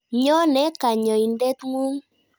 Nyone kanyoindet ng'ung'.